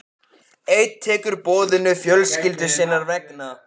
Einn tekur boðinu fjölskyldu sinnar vegna.